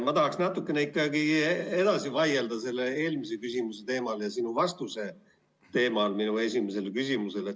Ma tahaks natukene edasi vaielda selle eelmise küsimuse teemal ja sinu vastuse teemal minu esimesele küsimusele.